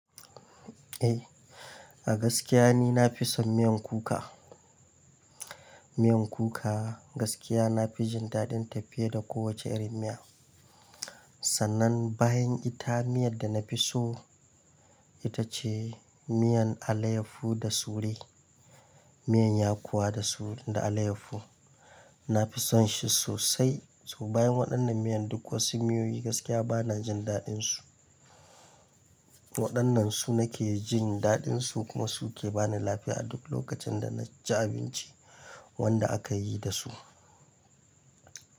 Eh, a gaskiya ni na fi son miyan kuka. Miyan kuka gaskiya na fi jin daɗin tafiye da kowace irin miya. Sannan bayan ita miyan da na fi so ita ce miyan alayyafu da sure, miyan yakowa da alayyafu. Na fi son shi sosai. To bayan waɗannan miyan duk wasu miyoyi gaskiya ba na jin daɗinsu. Waɗannan su nake jin daɗinsu kuma su ke ba ni lafiya a duk lokacin da na ci abinci wanda aka yi da su.